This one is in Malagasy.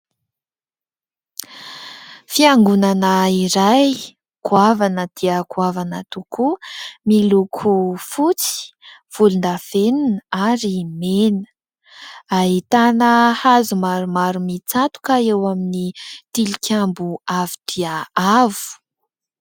Fiangonana iray goavana dia goavana tokoa, miloko fotsy, volondavenona ary mena. Ahitana hazo maromaro mitsatoka eo amin'ny tilikambo avo dia avo.